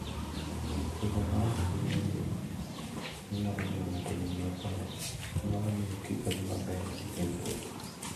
Bedo maonge gi ng'eyo manyalo miyo ng'ato owinj maber, nyalo miyo kik odhi maber e wuoth.